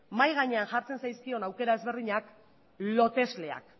mahai gainean jartzen zaizkion aukera ezberdinak lotesleak